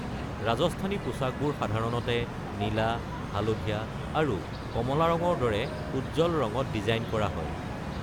ৰাজস্থানী পোছাকবোৰ সাধাৰণতে নীলা, হালধীয়া আৰু কমলা ৰঙৰ দৰে উজ্জ্বল ৰঙত ডিজাইন কৰা হয়।